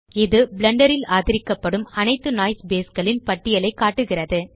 இது பிளெண்டர் ல் ஆதரிக்கப்படும் அனைத்து நோய்ஸ் பேஸ் களின் பட்டியலைக் காட்டுகிறது